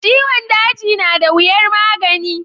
Ciwon daji nada wiyar magani.